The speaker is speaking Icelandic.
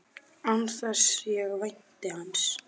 Án þess að ég vænti hans.